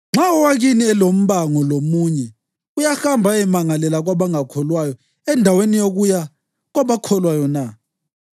Nxa owakini elombango lomunye uyahamba ayemangalela kwabangakholwayo endaweni yokuya kwabakholwayo na?